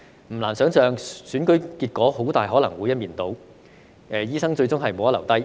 不難想象，選舉結果很大可能會是一面倒，醫生最終無得留低。